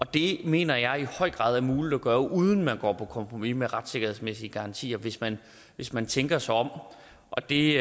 det mener jeg i høj grad er muligt at gøre uden at man går på kompromis med retssikkerhedsmæssige garantier hvis man hvis man tænker sig om og det